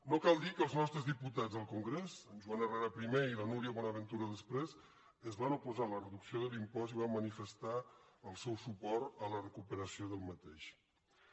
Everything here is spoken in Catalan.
no cal dir que els nostres diputats al congrés en joan herrera primer i la núria bonaventura després es van oposar a la reducció de l’impost i van manifestar el seu suport a la recuperació d’aquest impost